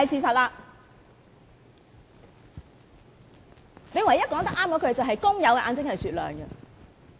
他唯一說得對的話是"工友的眼睛是雪亮的"。